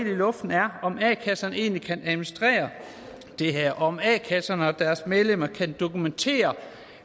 i luften er om a kasserne egentlig kan administrere det her om a kasserne og deres medlemmer kan dokumentere